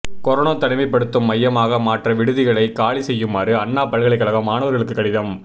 corona தனிமைப்படுத்தும் மையமாக மாற்ற விடுதிகளை காலி செய்யுமாறு அண்ணா பல்கலைக்கழகம் மாணவர்களுக்கு கடிதம்